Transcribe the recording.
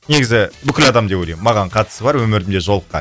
негізі бүкіл адам деп ойлаймын маған қатысы бар өмірімде жолыққан